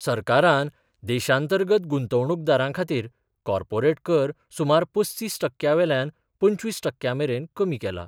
सरकारान देशांतर्गत गुंतवणुकदारांखातीर कार्पोरेट कर सुमार पस्तीस टक्क्यावेल्यान पंचवीस टक्क्यामेरेन कमी केला.